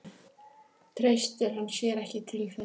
Treystir hann sér ekki til þess?